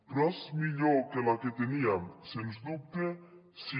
però és millor que la que teníem sens dubte sí